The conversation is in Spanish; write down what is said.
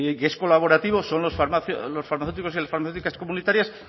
es colaborativo son los farmacéuticos y las farmacéuticas comunitarias